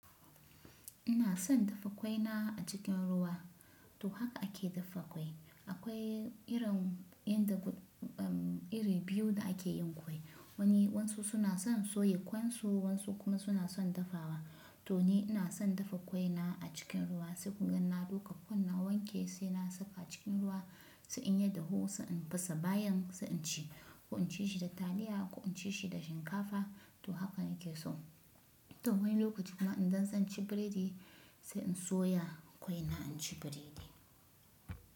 Ina son dafa ƙwai na a cikin ruwa. To haka ake dafa ƙwai. Akwai irin inda iri biyu da ake yin ƙwai. Wani wansu suna son soya kwansu, wansu kuma suna son dafawa. To ni ina son dafa ƙwai na a cikin ruwa sai kugan na ɗuka ƙwai na wanke sai na saka cikin ruwa sai in ya dahu sai in fasa bayan sai in ci. Ko in ci shi da taliya ko in ci shi da shinkafa to haka nake so. To wani lokaci kuma idan zan ci biredi sai in soya ƙwai na in ci biredi.